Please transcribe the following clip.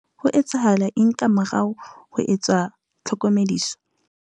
Ho etsahala eng ka morao ho ho etswa ha tlhokomediso?